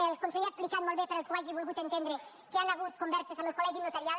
el conseller ha explicat molt bé per al qui ho hagi volgut entendre que hi han hagut converses amb el col·legi notarial